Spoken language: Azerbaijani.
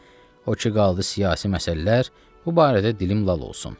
O ki qaldı siyasi məsələlər, bu barədə dilim lal olsun.